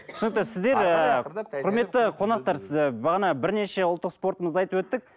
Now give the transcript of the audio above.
түсінікті сіздер ыыы құрметті қонақтар бағана бірнеше ұлттық спортымызды айтып өттік